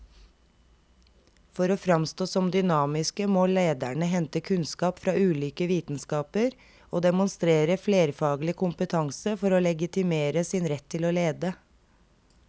For å framstå som dynamiske må lederne hente kunnskap fra ulike vitenskaper og demonstrere flerfaglig kompetanse for å legitimere sin rett til å lede.